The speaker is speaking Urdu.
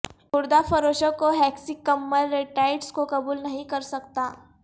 خوردہ فروشوں کو ہیکسی کممل ریٹائٹس کو قبول نہیں کر سکتا